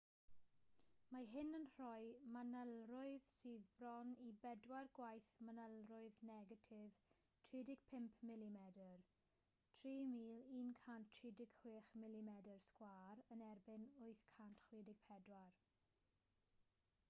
mae hyn yn rhoi manylrwydd sydd bron i bedair gwaith manylrwydd negatif 35 mm 3136 mm2 yn erbyn 864